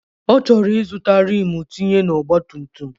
Ọchọrọ izụta Rim tinye na ọgba tum tum.